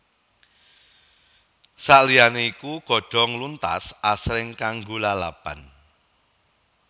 Saliyane iku godhong luntas asring kanggo lalapan